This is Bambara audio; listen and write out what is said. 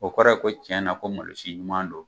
O kɔrɔ ye ko tiɲɛna ko malosi ɲuman don.